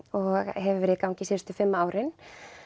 hefur verið í gangi síðustu fimm árin